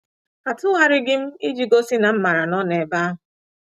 Atụgharịghị m, iji gosi na m mara na ọ nọ ebe ahụ.